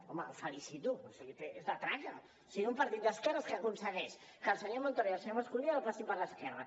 home el felicito o sigui és de traca o sigui un partit d’esquerres que aconsegueix que el senyor montoro i el senyor mas colell el passin per l’esquerra